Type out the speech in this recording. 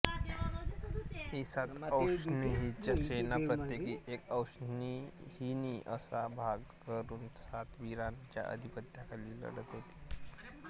ही सात अक्षौहिणी सेना प्रत्येकी एक अक्षौहिणी असा भाग करुन सात वीरांच्या अधिपत्याखाली लढत होती